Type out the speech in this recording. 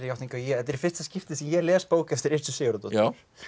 játningu að þetta er í fyrsta skipti sem ég les bók eftir Sigurðardóttur